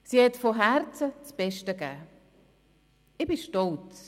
Sie hat von Herzen das Beste gegeben.